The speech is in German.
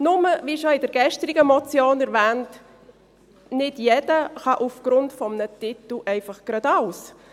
Nur, wie bereits in der gestrigen Motion erwähnt, ist es nicht so, dass aufgrund eines Titels einfach jeder alles kann.